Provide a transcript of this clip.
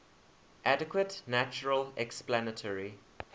adequate natural explanatory